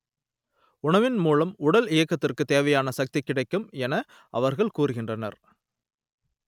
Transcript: உணவின் மூலம் உடல் இயக்கத்திற்கு தேவையான சக்தி கிடைக்கும் என அவர்கள் கூறுகின்றனர்